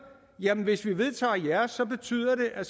hvis vi vedtager jeres betyder det at